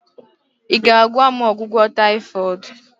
ị ga-agwa m ọgwụgwọ taifoid?